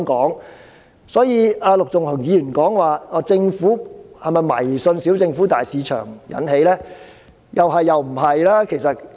陸頌雄議員質疑這是否因為政府迷信"小政府，大市場"所致，我認為是"是"和"不是"。